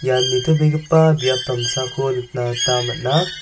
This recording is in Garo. nitobegipa biap damsako nikna gita man·a.